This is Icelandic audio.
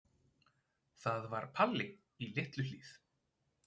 Það var Palli í Litlu-Hlíð.